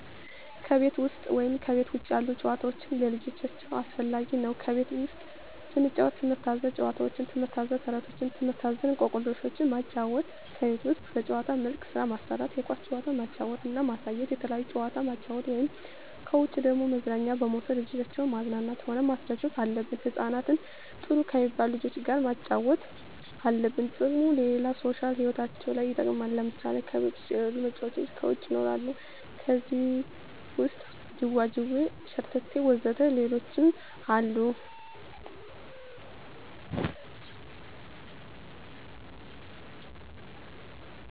ከቤት ውሰጥ ወይም ከቤት ውጭ ያሉ ጭዋታዎች ለልጆቻቸው አስፈላጊ ነው ከቤት ውስጥ ስንጫወት ትምህርት አዘል ጫውውቶች ትምህርት አዘል ተረቶች ትምህርት አዘል እኮክልሾችን ማጫወት ከቤት ውስጥ በጭዋታ መልክ ስራ ማሰራት የኳስ ጭዋታ ማጫወት እና ማሳየት የተለያየ ጭዋታ ማጫወት ነው ከውጭ ደግሞ መዝናኛ በመውሰድ ልጆችን ማዝናናት ሆነ ማስደሰት አለብን ህጻናትን ጥሩ ከሜባሉ ልጆች ጋር ማጫወት አለብን ጥቅሙም ለሌላ ሦሻል ህይወታቸው ለይ ይጠቅማል ለምሳሌ ከቤት የለሉ መጫወቻ ከውጭ ይኖራሉ ከዜህ ውሰጥ ጅዋጅዌ ሸረተቴ ወዘተ ሌሎችም አሉ